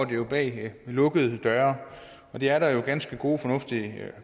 det jo bag lukkede døre det er der ganske gode og fornuftige